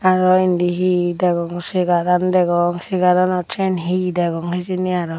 aro indi he he degongor segaran degong segaranot syan he he degong hijeni aro.